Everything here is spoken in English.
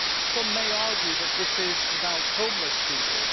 Some may argue that this is about homeless people.